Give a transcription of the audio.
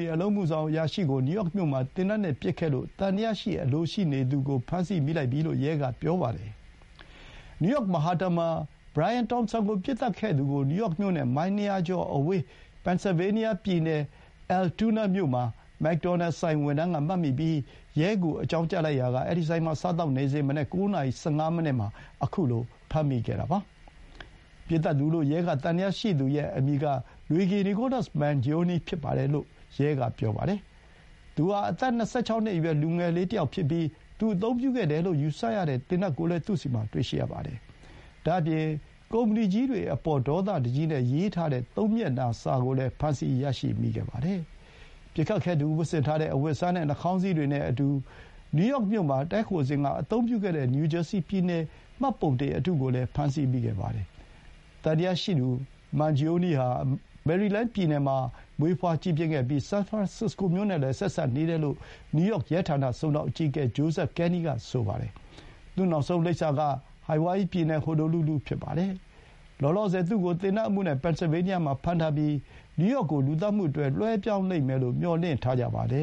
ီ အလုပ်အမှုဆောင် အရာရှိကို နယူးယောက်မြို့မှာ သေနတ်နဲ့ ပစ်ခဲ့မှုမှာ သံသယရှိသူကို ဖမ်းမိပြီ လို့ ရဲက ပြောပါတယ်။ မဟတ်တန်မှာ Brian Thompson ကို ပစ်သတ်ခဲ့တယ်လို့ သံယယရှိသူကို နယူးယောက်မြို့နဲ့ မိုင် ၂၀၀ ကျော်အဝေး ပင်န်ဆယ်ဗေးနီးယား ပြည်နယ် Altoona မြို့မှာ မက်ဒေါ်နယ်ဆိုင်ဝန်ထမ်း က မှတ်မိပြီး ရဲကို အကြောင်းကြားလိုက်ရာက အဲဒီဆိုင်မှာ စားသောက်နေစဥ် မနက် ၉ နာရီ ၁၅ မိနစ်မှာ အခုလို ဖမ်းမိခဲ့တာပါ။ ပစ်သတ်သူလို့ ရဲက သံသယရှိသူရဲ့ အမည်က Luigi Nicholas Mangione ဖြစ်တယ်လို့ ရဲကပြောပါတယ်။ သူဟာ အသက် ၂၆ နှစ်အရွယ် လူငယ်တယောက်ဖြစ်ပြီး သူအသုံးပြုခဲ့တယ်လို့ ယူဆရတဲ့ သေနတ်ကိုလည်း သူ့ဆီမှာ တွေ့ရှိရပါတယ်။ ဒါ့အပြင် ကုမ္ပဏီကြီးတွေအပေါ် ဒေါသတကြီးနဲ့ ရေးထားတဲ့ သုံးမျက်နှာစာ ကိုလည်း ဖမ်းဆီးရမိခဲ့ပါတယ်။ ပစ်ခတ်ခဲ့သူ ဝတ်ဆင်ထားတဲ့ အဝတ်အစားနဲ့ နှာခေါင်းစည်းတွေနဲ့အတူ နယူးယောက်မြို့မှာ တည်းခိုစဥ်က အသုံးပြုခဲ့တဲ့ နယူးဂျာစီပြည်နယ် မှတ်ပုံတင် အတုကိုလည်း ဖမ်းဆီးမိခဲ့ပါတယ်။ သံသယရှိသူ မန်ဂျီအိုနီး ဟာ မေရီလန်းပြည်နယ်မှာ မွေးဖွါးကြီးပြင်းခဲ့ပြီး၊ ဆန်ဖရန်စစ္စကိုမြို့နဲ့လည်း ဆက်စပ်နေတယ်လို့ နယူးယောက် ရဲဌာန စုံထောက်အကြီးအကဲ Joseph Kenny က ပြောပါတယ်။ သူ့ နောက်ဆုံး လိပ်စာက ဟိုင်ဝိုင်ယီပြည်နယ် ဟိုနိုလူလူ ဖြစ်ပါတယ်။ လောလောဆယ် သူ့ကို သေနတ်အမှုနဲ့ ပင်န်ဆယ်ဗေးနီးယားမှာ ဖမ်းထားပြီး၊ နယူးယောက်ကို လူသတ်မှုအတွက် လွှဲပြောင်းလိမ့်မယ်လို့ မျှော်လင့်ထားကြပါတယ